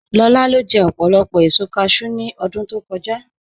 Làrà lo jẹ̀ òpólopò èṣò càshẹw ní ọdún tó kọ̀jà